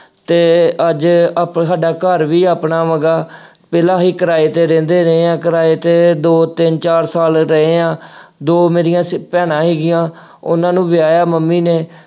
ਅਤੇ ਅੱਜ ਆਪੇ ਸਾਡਾ ਘਰ ਵੀ ਆਪਣਾ ਹੈਗਾ, ਪਹਿਲਾ ਅਸੀਂ ਕਿਰਾਏ ਤੇ ਰਹਿੰਦੇ ਰਹੇ ਹਾਂ। ਕਿਰਾਏ ਤੇ ਦੋ, ਤਿੰਨ, ਚਾਰ ਸਾਲ ਰਹੇ ਹਾਂ। ਦੋ ਮੇਰੀਆਂ ਸ ਭੈਣਾਂ ਹੈਗੀਆਂ, ਉਹਨਾ ਨੂੰ ਵਿਆਹਿਆ ਮੰਮੀ ਨੇ।